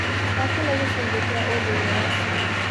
Gũthaka nĩ gĩcunjĩ kĩa ũndũire wa ciana.